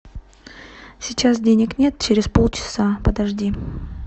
сейчас денег нет через полчаса подожди